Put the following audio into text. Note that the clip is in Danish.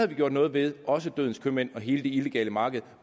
vi gjort noget ved også dødens købmænd og hele det illegale marked og